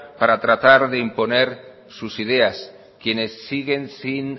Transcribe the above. para tratar de imponer sus ideas quienes siguen sin